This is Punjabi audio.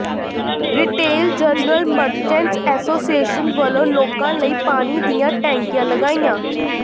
ਰਿਟੇਲ ਜਨਰਲ ਮਰਚੈਂਟਸ ਐਸੋਸੀਏਸ਼ਨ ਵਲੋਂ ਲੋਕਾਂ ਲਈ ਪਾਣੀ ਦੀਆਂ ਟੈਂਕੀਆਂ ਲਗਾਈਆਂ